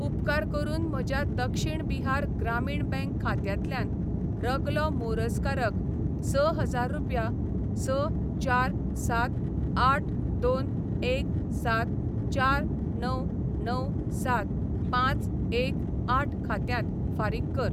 उपकार करून म्हज्या दक्षिण बिहार ग्रामीण बँक खात्यांतल्यान रगलो मोरजकार क स हजार रुपया स चार सात आठ दोन एक सात चार णव णव सात पांच एक आठ खात्यांत फारीक कर. .